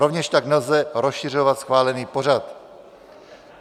Rovněž tak nelze rozšiřovat schválený pořad.